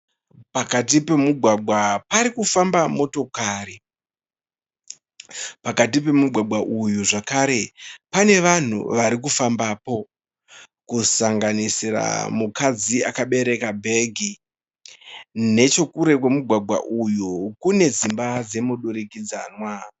Pakati pemugwagwa parikufamba motokari. Pakati pemugwagwa uyu zvakare pane vanhu varikufambapo. Kusanganisira mukadzi akabereka bhegi. Nechekure kwemugwagwa uyu kune dzimba dzemudurikidzanwa.